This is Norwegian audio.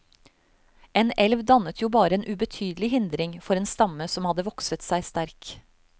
En elv dannet jo bare en ubetydelig hindring for en stamme som hadde vokset seg sterk.